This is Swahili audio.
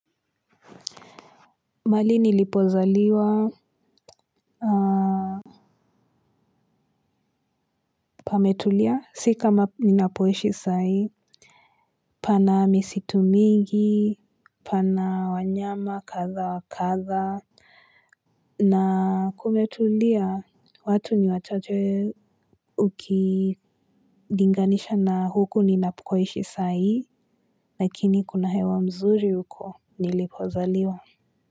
Mali nilipozaliwa A Pametulia si kama ninapoishi saa hii. Pana misitu mingi. Pana wanyama kadha wa kadha na kumetulia. Watu ni wachache. Ukilinganisha na huku ninapoishi saa hii lakini kuna hewa mzuri huko nilipozaliwa.